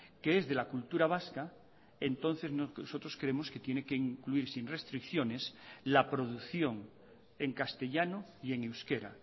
que es de la cultura vasca entonces nosotros creemos que tiene que incluir sin restricciones la producción en castellano y en euskera